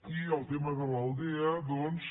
i el tema de l’aldea doncs